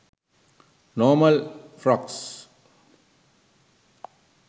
normal frocks